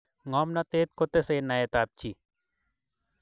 ngomnatet kotesei naet ap chii